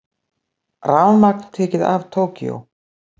Rafmagn tekið af Tókýó